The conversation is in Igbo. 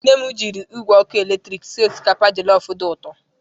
Nne m jiri igwe ọkụ eletrik sie osikapa jọlọfụ dị ụtọ.